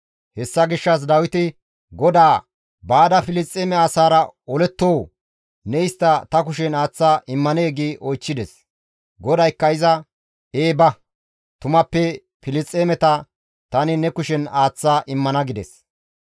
Hessa gishshas Dawiti GODAA, «Baada Filisxeeme asaara olettoo? Ne istta ta kushen aaththa immanee?» gi oychchides. GODAYKKA iza, «Ee ba; tumappe Filisxeemeta tani ne kushen aaththa immana» gides.